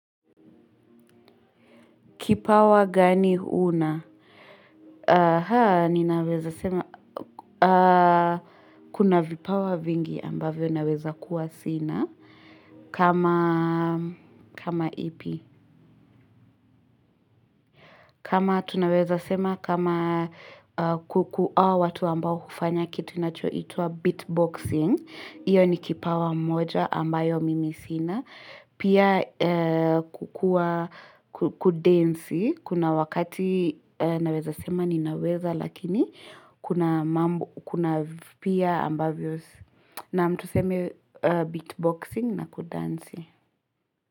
Kipawa gani huna? Haa, ninaweza sema, kuna vipawa vingi ambavyo naweza kuwa sina. Kama, kama ipi. Kama tunaweza sema kama kuku hawa watu ambao hufanya kitu inachoitwa beatboxing. Iyo ni kipawa moja ambayo mimi sina. Pia kudansi kuna wakati naweza sema ninaweza lakini kuna pia ambavyo naam tuseme beatboxing na kudansi.